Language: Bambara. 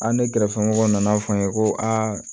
A ni ne kɛrɛfɛmɔgɔ nan'a fɔ n ye ko aa